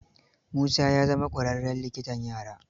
Musa ya zama ƙwaraarren likitan yara.